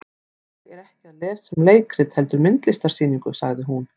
Ég er ekki að lesa um leikrit heldur myndlistarsýningu, sagði hún.